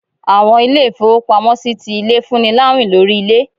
Àwọn ilé-ifowópámọsí tí ilé, fún ní láwín lorí ilé.